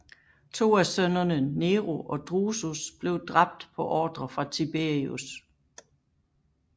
To af sønnerne Nero og Drusus blev dræbt på ordre fra Tiberius